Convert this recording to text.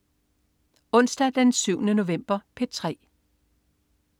Onsdag den 7. november - P3: